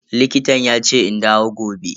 Likitan yace in dawo gobe.